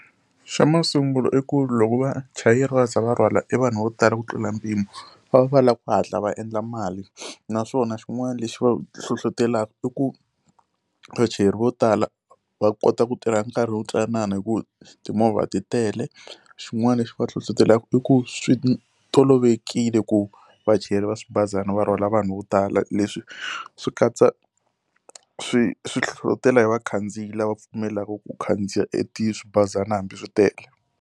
Xa masungulo i ku loko vachayeri va za va rhwala evanhu vo tala ku tlula mpimo va va va lava ku hatla va endla mali, naswona xin'wana lexi va hlohletelaka i ku muchayeri vo tala va kota ku tirha nkarhi wo ntsanana hikuva timovha ti tele. Xin'wana lexi va hlohlotelaka i ku swi tolovelekile ku vachayeri va swibazana va rhwala vanhu vo tala, leswi swi katsa swi swi hlohletela hi vakhandziyi lava pfumelaka ku khandziya eti swibazana hambi swi tele.